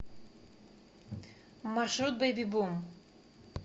маршрут бэйби бум